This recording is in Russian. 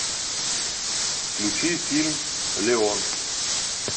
включи фильм леон